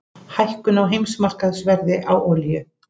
Hækkun á heimsmarkaðsverði á olíu